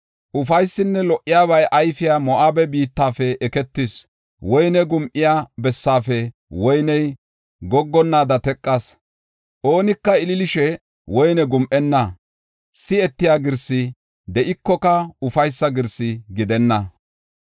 Ufaysinne Lo77obay ayfiya Moo7abe biittafe eketis. Woyne gum7iya bessaafe woyney goggonnaada teqas. Oonika ililishe woyne gum7enna. Si7etiya girsi de7ikoka ufaysa girsi gidenna.